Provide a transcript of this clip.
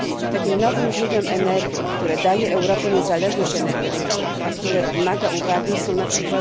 Takim nowym źródłem energii, które daje Europie niezależność energetyczną, a które wymaga uwagi, są np.